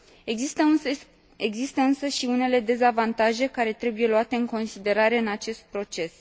Există însă și unele dezavantaje care trebuie luate în considerare în acest proces.